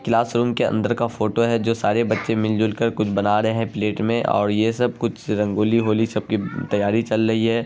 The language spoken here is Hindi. क्लास रूम के अंदर का फोटो है जो सारे बच्चे मिल जुल कर कुछ बना रहे है प्लेट में और ये सब कुछ रंगोली होली सब की तैयारी चल रही है।